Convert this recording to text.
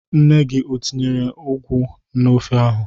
Nne gi o tinyere ụgwụ n'ofe ahụ.